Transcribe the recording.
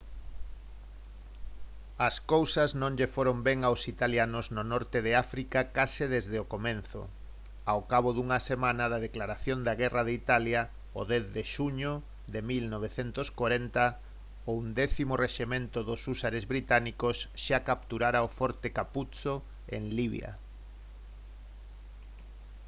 as cousas non lles foron ben aos italianos no norte de áfrica case desde o comezo. ao cabo dunha semana da declaración de guerra de italia o 10 de xuño de 1940 o 11.º rexemento dos húsares británicos xa capturara o forte capuzzo en libia